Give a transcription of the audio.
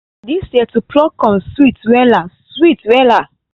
this year to pluck corn sweet wela sweet wela